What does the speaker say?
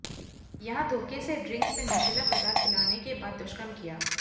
यहां धोखे से ड्रिंक्स में नशीला पदार्थ पिलाने के बाद दुष्कर्म किया